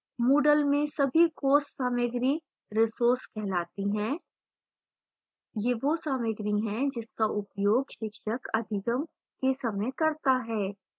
moodle में सभी course सामाग्री resources कहलाती हैं